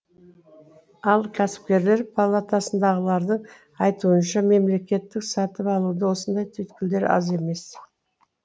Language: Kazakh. ал кәсіпкерлер палатасындағылардың айтуынша мемлекеттік сатып алуда осындай түйткілдер аз емес